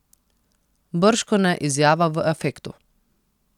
Bržkone izjava v afektu.